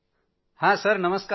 मोदीजीः कोण राम बोलत आहेत काय